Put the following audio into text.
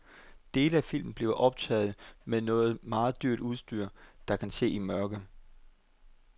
Dele af filmen bliver optaget med noget meget dyrt udstyr, der kan se i mørke.